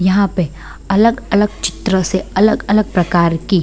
यहाँ पे अलग-अलग चित्रों से अलग-अलग प्रकार की --